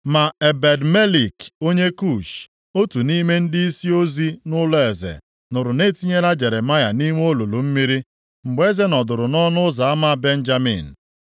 Ma Ebed-Melek, onye Kush, otu nʼime ndịisi ozi nʼụlọeze nụrụ na etinyela Jeremaya nʼime olulu mmiri. Mgbe eze nọdụrụ nʼọnụ ụzọ ama Benjamin,